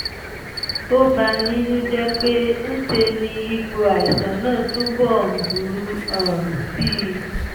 ó bani nínú jẹ́ pé ń ṣe ni ipò àìsàn náà túbọ̀ ń burú um sí i